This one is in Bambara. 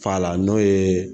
Fa la n'o ye